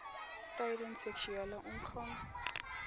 tydens seksuele omgang